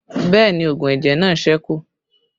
Bẹẹ ni oògùn ẹ̀jẹ̀ náà sẹ́kù